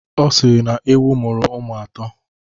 Ọ sịrị na ewu muru ụmụ atọ.